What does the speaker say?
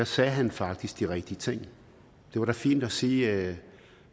sagde han faktisk de rigtige ting det var da fint at sige at